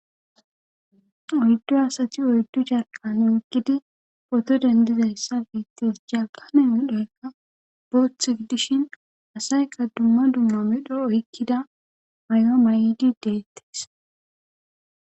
oyddu asati oyddu carqane oggidi poto dendizayssa biittes jakane odhoykka booth gidishin asayka dumma dumma midho oykkida may7o ma7idi deettes